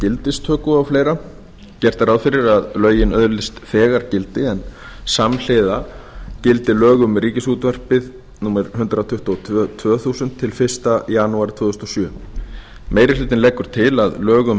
gildistöku og fleira gert er ráð fyrir að lögin öðlist þegar gildi en samhliða gildi lög um ríkisútvarpið númer hundrað tuttugu og tvö tvö þúsund til fyrsta janúar tvö þúsund og sjö meiri hlutinn leggur til að lög um